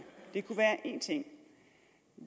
det kunne være én ting